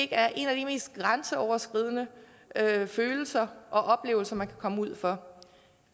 er en af de mest grænseoverskridende følelser og oplevelser man kan komme ud for